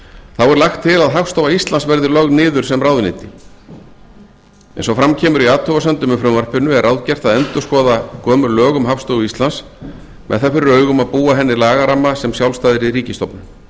þá er lagt til að hagstofa íslands verði lögð niður sem ráðuneyti eins og fram kemur í athugasemdum með frumvarpinu er ráðgert að endurskoða gömul lög um hagstofu íslands með það fyrir augum að búa henni lagaramma sem sjálfstæðri ríkisstofnun